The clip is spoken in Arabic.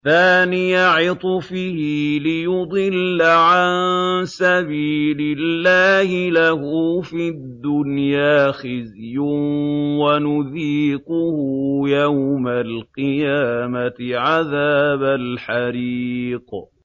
ثَانِيَ عِطْفِهِ لِيُضِلَّ عَن سَبِيلِ اللَّهِ ۖ لَهُ فِي الدُّنْيَا خِزْيٌ ۖ وَنُذِيقُهُ يَوْمَ الْقِيَامَةِ عَذَابَ الْحَرِيقِ